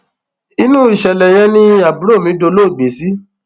inú ìṣẹlẹ yẹn ni àbúrò mi dolóògbé sí